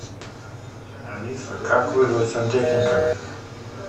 алиса как вызвать сантехника